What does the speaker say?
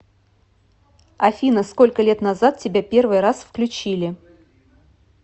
афина сколько лет назад тебя первый раз включили